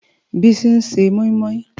Bisi n sé mòimòi